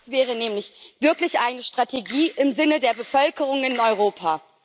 Das wäre nämlich wirklich eine Strategie im Sinne der Bevölkerung in Europa.